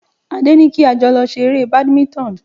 Adé ní kí a jọ lọ ṣe eré Badminton